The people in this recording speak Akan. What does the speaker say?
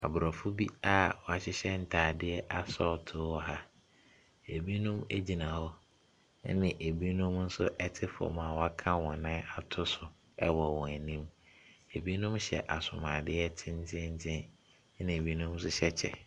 Aborɔfo bi a wɔahyehyɛ ntade asɔɔtoo wɔ ha. Binom gyina hɔ, ɛnna binom nso te fam a wɔaka wɔn nan ato so wɔ wɔn anim. Binom hyɛ asomadeɛ tenteenten na binom nso hyɛ kyɛ.